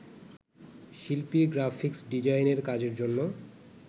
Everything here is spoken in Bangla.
শিল্পীর গ্রাফিক্স ডিজাইনের কাজের জন্য